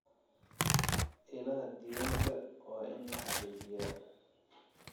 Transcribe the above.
Ilaha diiwaanka waa in la xaqiijiyaa.